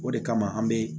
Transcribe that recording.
O de kama an be